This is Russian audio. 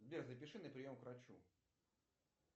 сбер запиши на прием к врачу